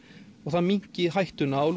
og það minnki hættuna á